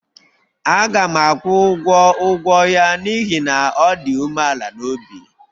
Aga m akwụ ụgwọ ụgwọ ya n'ihi na ọ dị umeala n'obi